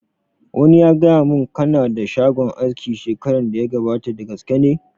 Wani ya gaya mun ka na da shagon aski shekaran da ya gabata, da gaske ne?